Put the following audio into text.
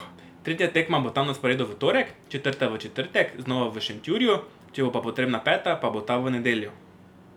Tretja tekma bo tam na sporedu v torek četrta v četrtek znova v Šentjurju, če bo potrebna peta, pa bo ta v nedeljo.